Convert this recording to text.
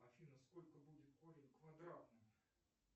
афина сколько будет корень квадратный